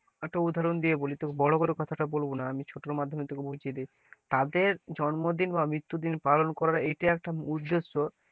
একটা উদাহরণ দিয়ে বলে তোকে বড় করে কথাটা বলব না আমি ছোট মাধ্যমে তোকে বুজিয়ে দি, তাদের জন্মদিন বা মৃত্যুদিন পালন করারএইটাই একটা উদ্দেশ্য,